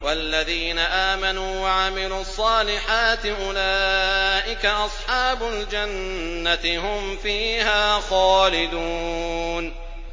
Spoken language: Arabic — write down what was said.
وَالَّذِينَ آمَنُوا وَعَمِلُوا الصَّالِحَاتِ أُولَٰئِكَ أَصْحَابُ الْجَنَّةِ ۖ هُمْ فِيهَا خَالِدُونَ